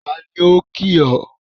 Taàní ó kìì ọ?